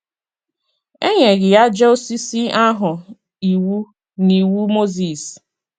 E nyeghị àjà osisi ahụ iwu n’Iwu Mozis.